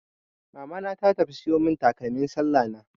Mamana ta tafi siyo mun takalmin sallah na.